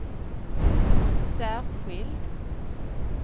särskild